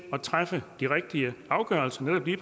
at træffe de rigtige afgørelser nemlig